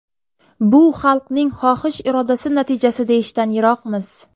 Bu xalqning xohish-irodasi natijasi deyishdan yiroqmiz.